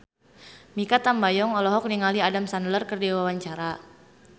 Mikha Tambayong olohok ningali Adam Sandler keur diwawancara